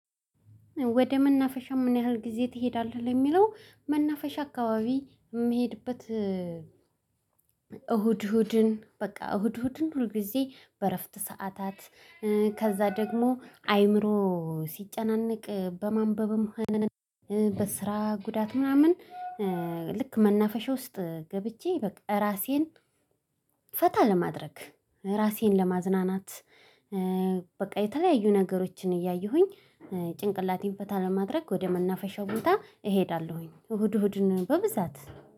ወደ መናፈሻ ምን ያህል ጊዜ ትሄዳለህ? ለሚለው መናፈሻ አካባቢ የምሄድበት። እሁድ እሁድን በቃ እሁድ እሁድን ሁል ጊዜ በእረፍት ሰዓታት። ከዛ ደግሞ አእምሮ ሲጨናነቅ በማንበብም ሆነ በስራ ጉዳት ምናምን። ልክ መናፈሻ ውስጥ ገብቼ በቃ ራሴን ፈታ ለማድረግ ራሴን ለማዝናናት። በቃ የተለያዩ ነገሮችን እያየሁኝ ጭንቅላቴን ፈታ ለማድረግ ወደ መናፈሻ ቦታ እሄዳለሁኝ እሁድ እሁድ በብዛት